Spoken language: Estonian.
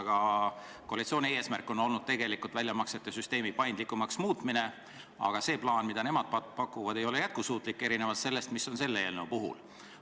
Ka koalitsiooni eesmärk on olnud väljamaksete süsteemi paindlikumaks muuta, aga see plaan, mida nemad pakuvad, ei ole erinevalt selles eelnõus toodust jätkusuutlik.